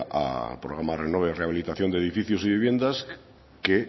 al programa renove rehabilitación de edificios y viviendas que